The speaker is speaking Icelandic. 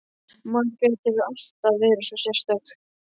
Margrét hefur alltaf verið svo sérstök.